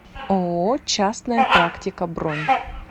ооо частная практика бронь